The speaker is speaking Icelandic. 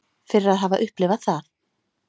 Fyrir að hafa upplifað það.